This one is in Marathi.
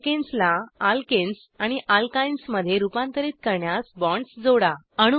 अल्केन्स ला अल्केनेस आणि अल्काइन्स मध्ये रुपांतरीत करण्यास बॉण्ड्स जोडा